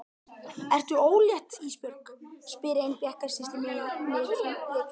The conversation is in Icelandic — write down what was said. Ertu ólétt Ísbjörg, spyr ein bekkjarsystir mín mig í leikfimi.